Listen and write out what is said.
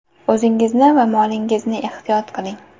O‘zingizni va molingizni ehtiyot qiling!